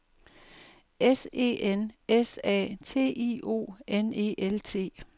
S E N S A T I O N E L T